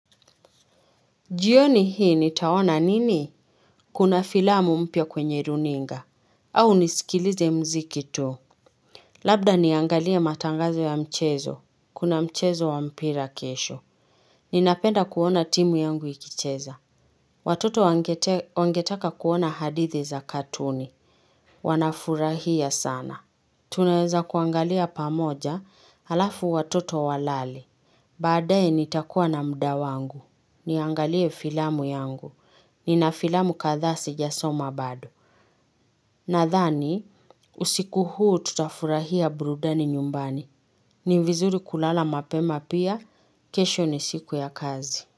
Jioni hii nitaona nini? Kuna filamu mpya kwenye runinga. Au nisikilize muziki tu. Labda niangalie matangazo ya mchezo. Kuna mchezo wa mpira kesho. Ninapenda kuona timu yangu ikicheza. Watoto wangetaka kuona hadithi za katuni. Wanafurahia sana. Tunaweza kuangalia pamoja alafu watoto walale. Baadae nitakuwa na muda wangu. Niangalie filamu yangu. Ni na filamu kadhaa sijasoma bado. Nadhani, usiku huu tutafurahia burudani nyumbani. Ni vizuri kulala mapema pia, kesho ni siku ya kazi.